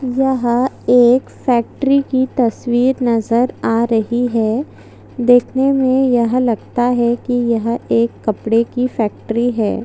वह एक फैक्ट्री कि तस्वीर नजर आ रही है देखने मे यह लगता है कि यह एक कपडे कि फैक्ट्री है।